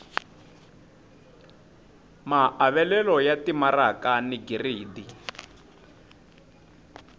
maavelo ya timaraka ni giridi